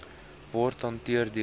word hanteer deur